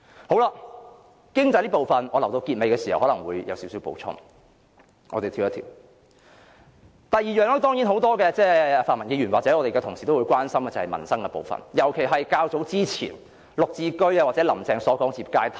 就經濟這部分，我留待結尾會再作少許補充，我現在跳往第二方面，就是很多泛民議員或我們的同事都很關心的民生部分，特別是較早前"林鄭"談及的"綠置居"或置業階梯。